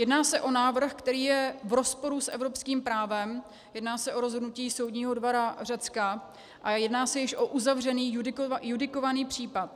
Jedná se o návrh, který je v rozporu s evropským právem, jedná se o rozhodnutí soudního dvora Řecka a jedná se již o uzavřený judikovaný případ.